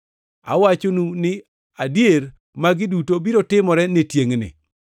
Awachonu ni adier magi duto biro timore ne tiengʼni.